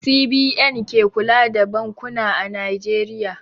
CBN ke kula da bankuna a Najeriya.